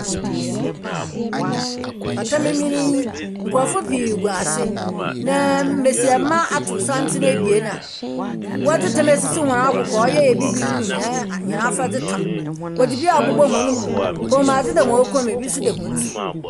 Pata mmemen yi, nkorɔfo pii gu ase. Naaaa mbesiamba atow santsen ebien a wɔdze tam asisi hɔn akokow a ɔyɛ Ebibir mu hɛn a hɛn afadze tam. Wɔdze bi abobz hɔn mu. Kɔnmuadze da hɔn kɔn mu, bi nso da hɔn tsir.